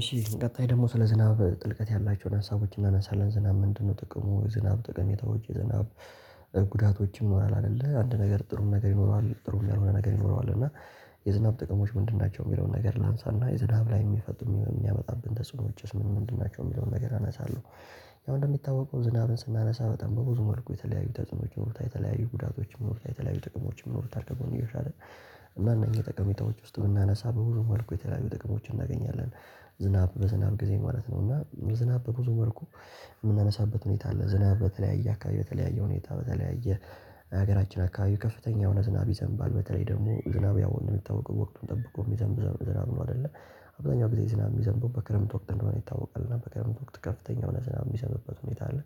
እሺ ቀጣይ ደግሞ ስለ ዝናብ ጥልቀት ያላቸውን ሀሳቦች እናነሳለን ዝናብ ምንድነው? ጥቅሙ ዝናብ ጠቀሜታዎች ዝናብ ጉዳቶችም ኖራል። አይደለ አንድ ነገር ጥሩ ነገር ይኖረዋል ጥሩ ነገር ይኖረዋል። እና የዝናብ ጥቅሞች ምንድን ናቸው? የሚለውን ነገር ላንሳና የዝናብ ላይ የሚፈጥሩ የሚያመጣብን ተጽዕኖ ውጭስ ምንድን ናቸው የሚለውን ነገር አነሳለሁ። ያው እንደሚታወቀው ዝናብን ስናነሳ በጣም በብዙ መልኩ የተለያዩ ተጽኖች መሆኑን የተለያዩ ጉዳቶችን መሆኑን የተለያዩ ጥቅሞችን መሆኑን ከጎንዮሽ አይደል። እና እነኚህ ጠቀሜታዎች ውስጥ የምናነሳ በሁሉም አልኩ የተለያዩ ጥቅሞችን እናገኛለን። ዝናብ በዝናብ ጊዜ ማለት ነው እና ዝናብ በብዙ ወርቁ የምናነሳበት ሁኔታ አለ። ዝናብ በተለያየ አካባቢ በተለያየ ሁኔታ በተለያዩ ሀገራችን አካባቢው ከፍተኛ የሆነ ዝናብ ይዘንባል። በተለይ ደግሞ ዝናብ ያው የሚታወቀው ወቅቱን ጠብቆ የሚዘንብዘን ዝናብ ነው አይደለ። አብዛኛው ጊዜ ዝናብ የሚዘንበው በክረምት ወቅት እንደሆነ ይታወቃል እና በክረምት ወቅት ከፍተኛ የሆነ ዝናብ የሚዘንበው ሁኔታ አለ።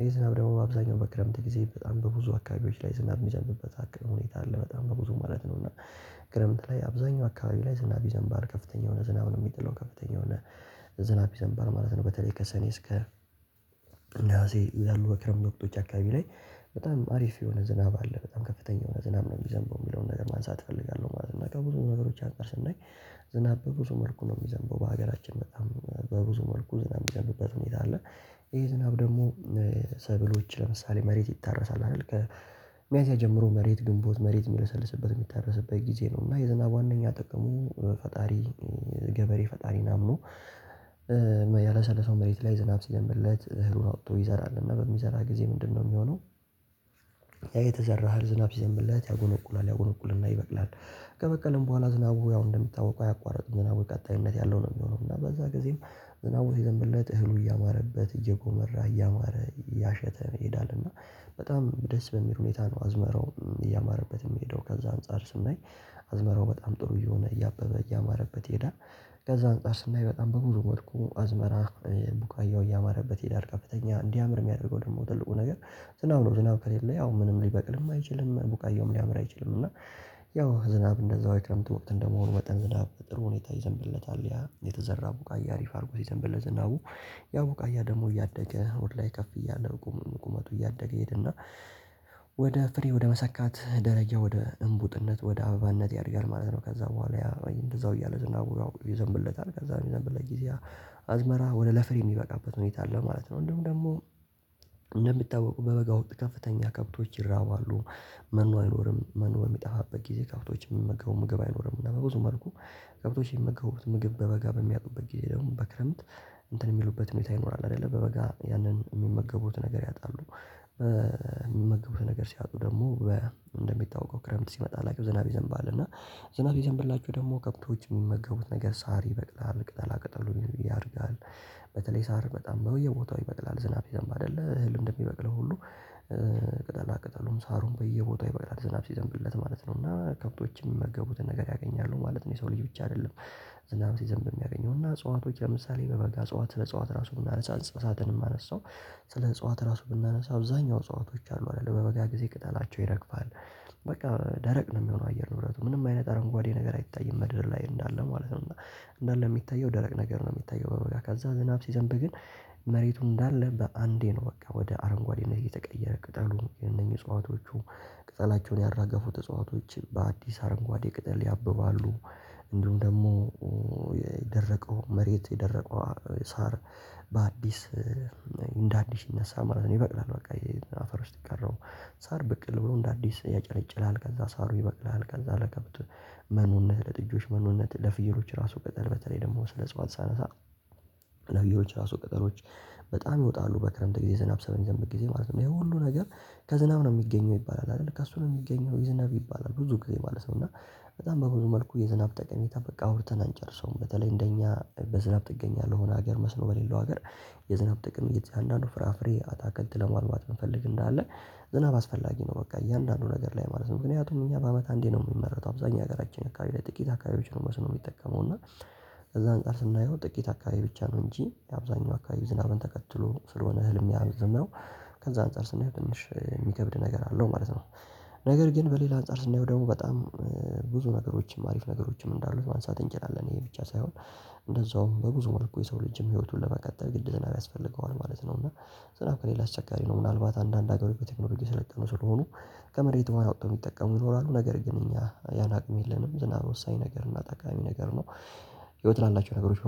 ይሄ ዝናብ ደግሞ አብዛኛው በክረምት ጊዜ በጣም በብዙ አካባቢዎች ላይ ዝናብ የሚያስፈልግበት ሀኪም ሁኔታ አለ። በጣም በብዙ ማለት ነው። እና ከረምት ላይ አብዛኛው አካባቢ ላይ ዝናብ ይዘንባርል ከፍተኛ የሆነ ዝናብ ነው የሚጥለው ከፍተኛ የሆነ ዝናብ ይዘንባል ማለት ነው። በተለይ ከሰኔ እስከ እንደዚህ ያሉ በክረምቶች አካባቢ ላይ በጣም አሪፍ የሆነ ዝናብ አለ በጣም ከፍተኛ የሆነ ዝናብ ነው የሚዘንበው የሚለውን ነገር ማንሳት እፈልጋለሁ ማለት ነው። ከብዙ ነገሮች አንፃር ደግሞ ዝናብ በብዙ መልኩ ነው የሚዘንበው በሀገራችን በጣም በብዙ መልኩ ዝናብ የሚገኙበት ሁኔታ አለ። ይሄ ዝናብ ደግሞ ሰብሎች ለምሳሌ መሬት ይታረሳል አይደል። ከሚያንስ ጀምሮ መሬት ግንቦት መሬት የሚሰልስበት የሚታረስበት ጊዜ ነው። እና የዝናብ ዋናኛ ጠቀሙ በፈጣሪ ገበሬ ፈጣሪን አምኖ ያላሰለፈው መሬት ላይ ዝናብ ሲነብለት እህሉን አውጥቶ ይዘራል እና በሚዘራ ጊዜ ምንድነው የሚሆነው? ያ የተዘራሃል ዝናብ ዘምብለት ያጎነቁላል ያጎነቁልና ይበቅላል። ከበቀልም በኋላ ዝናቡ አሁን እንደሚታወቀው አያቋርጥም ዝናቡ ቀጣይነት ያለው ነው የሚሆነው። እና በዛ ጊዜም ዝናብ የዘንብለት እህሉ እያማረበት እየጎመራ እያማረ እያሸተ ይሄዳል። እና በጣም ደስ በሚል ሁኔታ ነው አዝመረው እያማረበት የሚሄደው። ከዛ አንፃር ስንለኝ አዝመረው በጣም ጥሩ የሆነ እያበበ እያማረበት ይሄዳል። ከዛ አንፃር ስናይ በጣም በብዙ መልኩ አዝመራ ቡቃያው እያማረበት ይሄዳል። ከፍተኛ እንዲያምር የሚያደርገው ደግሞ ትልቁ ነገር ዝናው ነው ዝናው ከሌለ ያው ምንም ሊበቅልም አይችልም። ቡቃየውም ሊያምር አይችልም። እና ያው ዝናብ እንደዛው አይተህ እንደምትወቅድ እንደመሆን ወጠን ዝናብ ጥሩ ሁኔታ ይዘንብለታል የተዘራ ቡቃያ አሪፍ አድርጎ ሲዘንብለት ዝናቡ። ያው ቆያ ደግሞ እያደገ ወድ ላይ ከፍ እያደረጉ ቁመቱ እያደገ ይሄድና ወደ ፍሬ ወደ መሰካት ደረጃ ወደ እምቡጥነት ወደ አበባነት ያደርጋል ማለት ነው። ከዛ በኋላ እንደዛው እያለ ዝና ይዘንብለታል ከዛ ይዘንብለት ጊዜ አዝመራ ወደ ለፍሬ የሚበቃበት ሁኔታ አለ ማለት ነው። እንደውም ደግሞ እንደምታወቁ በበጋ ወጥ ከፍተኛ ከብቶች ይራባሉ። መኖ አይኖርም መኖ የሚጠፋበት ጊዜ ከብቶች የምመገቡ ምግብ አይኖርም። እና በብዙ መልኩ ከብቶች የምመገቡት ምግብ በበጋ በሚያውቁበት ጊዜ ደግሞ በክረምት እንትን የሚሉበት መታ ይኖራል። አይደለ በበጋ ያንን የሚመገቡት ነገር ያጣሉ። የሚመገቡት ነገር ሲያጡ በ እንደሚታወቀው ክረምት ሲመጣ ላይክ ዝናብ ይዘንባሁ እና ዝናብ ይዘንብላችሁ ደግሞ ከብቶች የሚመገቡት ነገር ሳር ይበቅላል ቅጠላ ቅጠሉ ያደርጋል። በተለይ ሳር በጣም በየቦታው ይበቅላል ዝናብ ሲዘንብ አይደለ እህል እንደሚበቅልህ ሁሉ። ቅጠላ ቅጠሉም ሳሩም በየቦታው ይበቅጣል ዝናብ ሲዘንብለት ማለት ነው። እና ከብቶችም መገቡትን ነገ ያገኛሉ ማለት ነው። የሰው ልጅ ብቻ አይደለም። ዝናብ ሲዘንብ የሚያገኘው እና አጽዋቶች ለምሳሌ በበጋ አጽዋት ለአጽዋት እጽዋት ራሱ ብናነሳ እጽዋትንም አነሳው። ስለ እጽዋት ራሱ ብናነሳ አብዛኛው ሰአቶች አሉ አይደለ በበጋ ጊዜ ቅጠላቸው ይረግፋል። በቃ ደረቅ ነው የሚሆነው አየር ንብረቱ ምንም አይነት አረንጓዴ ነገር አይታይም ምድር ላይ እንዳለ ማለት ነው። እና እንዳለ የሚታየው ደረቅ ነገር ነው የሚታየው በበጋ ከዛ ዝናብ ሲዘንብ ግን መሬቱ እንዳለ በአንዴ ነው በቃ ወደ አረንጓዴ እና እየተቀየረ ቅጠሉ እነኚህ እጽዋቶቹ ቅጠላቸውን ያራገፉ ተጽዋቾች በአዲስ አረንጓዴ ቅጠል ያብባሉ። እንዲሁም ደግሞ የደረቀው መሬት የደረቀው ሳር በአዲስ እንደ አዲስ ይነሳ ማለት ነው። ይበቅላል በቃ አፈር ውስጥ የቀረው ሳር በቅል ብሎ እንደ አዲስ ያጨለጭላል። ከዛ ሳሩ ይበቅልሃል ከዛ ለከብት መኖነት ለጥጆች መኖነት ለፍየሮች ራሱ ቅጠል በተለይ ደግሞ ስለ ጽዋት ሳነሳ። ነብያዎች ራሱ ቅጠሮች በጣም ይወጣሉ በክረምት ጊዜ ዝናብ ሰበን ይዘን በጊዜ ማለት ነው ይሄ ሁሉ ነገር። ከዝናብ ነው የሚገኘው ይባላል አይደል ካሱ ነው የሚገኘው የዝናብ ይባላል ብዙ ጊዜ ማለት ነው። እና በጣም በብዙ መልኩ የዝናብ ጠቀሜታ በቃ አውርተን አንጨርሰውም። በተለይ እንደኛ በዝናብ ትገኛለህ ሆነ ሀገር መስኖ በሌለው ሀገር። የዝናብ ጥቅም እየተያዘ አንዳንዱ ፍራፍሬ አታከት ለማልማት እንፈልግ እንዳለ ዝናብ አስፈላጊ ነው። በቃ እያንዳንዱ ነገር ላይ ማለት ነው። ምክንያቱም እኛ በአመት አንዴ ነው የሚመረተው። አብዛኛው ሀገራችን አካባቢ ላይ ጥቂት አካባቢዎችን በስነ ሊጠቀመው እና ከዛ አንቀር ስናየው ጥቂት አካባቢ ብቻ ነው እንጂ የአብዛኛው አካባቢ ዝናብን ተከትሎ ስለሆነ ህልም ሚያዘምረው። ከዛ አንፃር ስናየው ትንሽ የሚከብድ ነገር አለው ማለት ነው። ነገር ግን በሌላ አንፃር ስናየው ደግሞ በጣም ብዙ ነገሮችም አሪፍ ነገሮችም እንዳሉት ማንሳት እንችላለን። ይሄ ብቻ ሳይሆን እንደዛውም በብዙ መልኩ የሰው ልጅም ህይወቱን ለመቀጠል ግድ ዘና ያስፈልገዋል ማለት ነው። እና ዝናብ ከሌላ አስቸጋሪ ነው ምናልባት አንዳንድ ሀገሩ በቴክኖሎጂ ስለቀነው ስለሆኑ። ከመሬት የማያወጣው ይኖራሉ ነገር ግን እኛ ያን አቅም የለንም ዝናብ ወሳኝ ነገር እና ጠቃሚ ነገር ነው። ህይወት ላላቸው ነገሮች